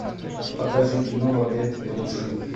покажи кино в объятиях лжи